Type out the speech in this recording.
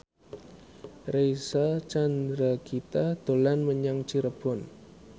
Reysa Chandragitta dolan menyang Cirebon